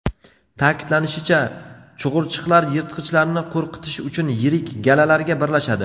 Ta’kidlanishicha, chug‘urchiqlar yirtqichlarni qo‘rqitish uchun yirik galalarga birlashadi.